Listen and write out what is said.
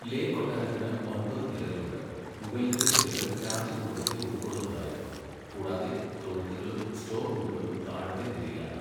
ലേ കൊട്ടാരത്തിന് ഒമ്പത് നിലകളുണ്ട്, മുകളിലത്തെ നിലകൾ രാജകുടുംബത്തെ ഉൾക്കൊള്ളുന്നതായിരുന്നു, കൂടാതെ തൊഴുത്തുകളും സ്റ്റോർ റൂമുകളും താഴത്തെ നിലയിലാണ്.